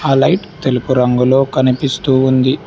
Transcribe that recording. ఆ లైట్ తెలుపు రంగులో కనిపిస్తూ ఉంది.